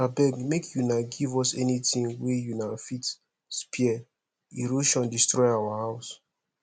abeg make una give us anything wey una fit spare erosion destroy our house